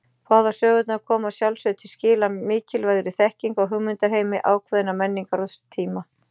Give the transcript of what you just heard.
Báðar sögurnar koma að sjálfsögðu til skila mikilvægri þekkingu á hugmyndaheimi ákveðinnar menningar og tíma.